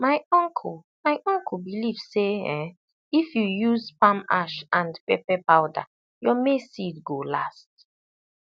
my uncle my uncle believe say um if you use palm ash and pepper powder your maize seed go last